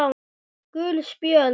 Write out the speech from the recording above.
Gul spjöld